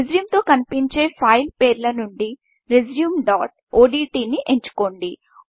రెజ్యూంతో కనిపించే ఫైల్ పేర్ల నుంచి Resumeodtని ఎంచుకోండి